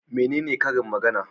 Menene karin magana?